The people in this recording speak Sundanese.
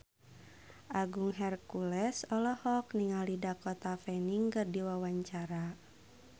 Agung Hercules olohok ningali Dakota Fanning keur diwawancara